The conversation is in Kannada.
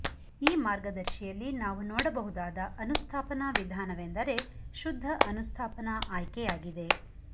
ಈ ಮಾರ್ಗದರ್ಶಿಯಲ್ಲಿ ನಾವು ನೋಡಬಹುದಾದ ಅನುಸ್ಥಾಪನಾ ವಿಧಾನವೆಂದರೆ ಶುದ್ಧ ಅನುಸ್ಥಾಪನಾ ಆಯ್ಕೆಯಾಗಿದೆ